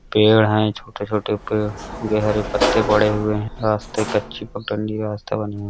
पेड़ है छोटे-छोटे पेड़ गहरे पत्ते पड़े हुए है। रास्ते कच्ची पगडंडी रास्ता बना हुआ।